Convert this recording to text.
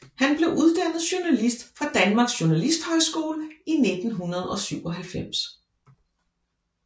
Han blev uddannet journalist fra Danmarks Journalisthøjskole i 1997